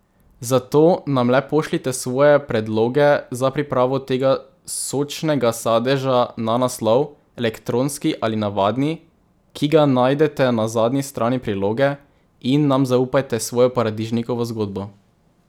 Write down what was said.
Zato nam le pošljite svoje predloge za pripravo tega sočnega sadeža na naslov, elektronski ali navadni, ki ga najdete na zadnji strani priloge, in nam zaupajte svojo paradižnikovo zgodbo.